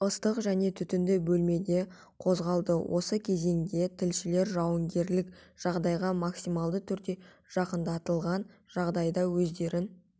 ыстық және түтінді бөлмеде қозғалды осы кезеңде тілшілер жауынгерлік жағдайға максималды түрде жақындатылған жағдайда өздерін